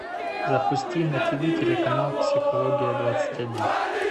запусти на ти ви телеканал психология двадцать один